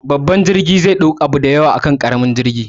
Babban jirgi zai ɗau abubuwa da yawa akan ƙaramin jirgi